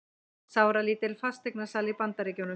Sáralítil fasteignasala í Bandaríkjunum